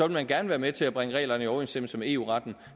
man gerne være med til at bringe reglerne i overensstemmelse med eu retten